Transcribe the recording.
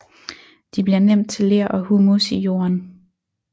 De bliver nemt til ler og humus i jorden